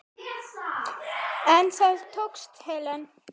En það tókst Helen.